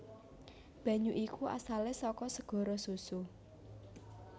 Banyu iku asalé saka segara susu